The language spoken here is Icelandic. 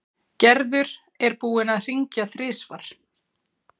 Gerður er búin að hringja þrisvar.